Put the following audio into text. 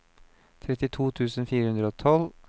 trettito tusen fire hundre og tolv